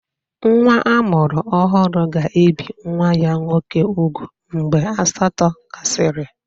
Nwa a mụrụ ọhụrụ ga-ebi nwa ya nwoke úgwù mgbe asatọ gasịrị.